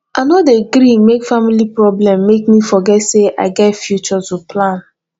i no dey gree make family problem make me forget sey i get future to plan